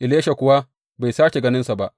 Elisha kuwa bai sāke ganinsa ba.